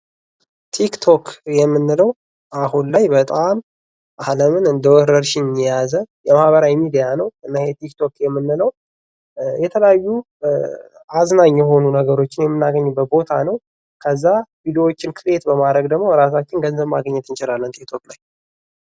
ትክ ቶክ የምንለው አሁን ላይ በጣም አለምን እንደ ወረርሽኝ የያዘ ማህበራዊ ሚዲያ ነው:: ትክ ቶክ የምንለው የተለያዩ አዝናኝ የሆኑ ነገሮች የምንናገኝበት ቦታ ነው::ከዛ ቪዲዮዎችን ክሬት በማድረግ ደግሞ በቂ ገንዘብ ማግኘት እንችላለን ማለት ነው ትክ ቶክ ላይ ::